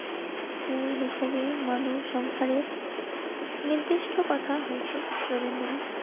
মূল হিসাবে মানব সংসারের নির্দিষ্ট কথা হয়েছে রবীন্দ্রনাথ